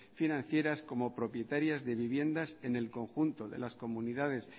financieras como propietarias de viviendas en el conjunto de las comunidades